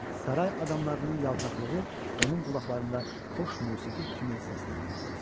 Saray adamlarının yaltaqlığı onun qulaqlarında xoş musiqi kimi səslənirdi.